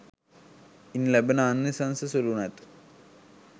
ඉන් ලැබෙන ආනිසංශ සුළු නැත.